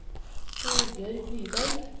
Torbjørg Nyberg